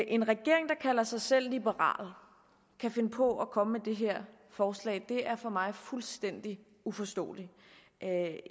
en regering der kalder sig selv liberal kan finde på at komme med det her forslag er for mig fuldstændig uforståeligt